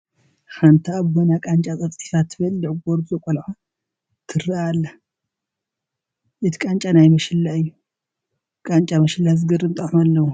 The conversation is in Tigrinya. ሓንቲ ኣብ ጐና ቃንጫ ፀፍፂፋ ትበልዕ ጐርዞ ቆልዓ ትርአ ኣላ፡፡ እቲ ቃንጫ ናይ መሸላ እዩ፡፡ ቃንጫ መሸላ ዝገርም ጣዕሚ ኣለዎ፡፡